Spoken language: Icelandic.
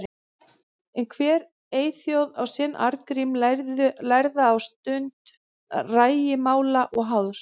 En hver eyþjóð á sinn Arngrím lærða á stund rægimála og háðs.